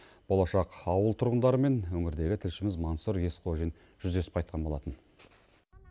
болашақ ауыл тұрғындарымен өңірдегі тілшіміз мансұр есқожин жүздесіп қайтқан болатын